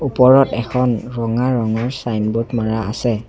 ওপৰত এখন ৰঙা ৰঙৰ ছাইনবোৰ্ড মাৰা আছে।